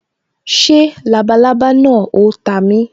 Ṣé labalábá náà o ta mi